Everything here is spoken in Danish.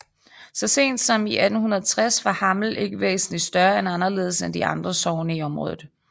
Så sent som i 1860 var Hammel ikke væsentligt større eller anderledes end de andre sogne i området